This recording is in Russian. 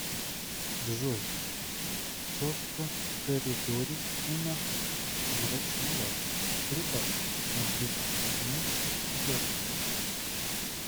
джой че то в коридоре у нас мрачновато прибавь на две единицы яркость